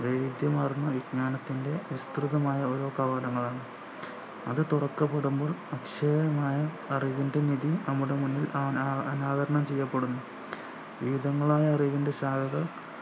വൈവിധ്യമാർന്ന വിജ്ഞാനത്തിൻ്റെ നിഷ്‌കൃതമായ ഒരോ കവാടങ്ങളാണ് അത് തുറക്കപ്പെടുമ്പോൾ അക്ഷയമായ അറിവിൻ്റെ നിധി നമ്മുടെ മുന്നിൽ അനാ അനാവരണം ചെയ്യപ്പെടുന്നു വീതങ്ങളായ അറിവിൻ്റെ ശാഖകൾ